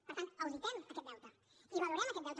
per tant auditem aquest deute i valorem aquest deute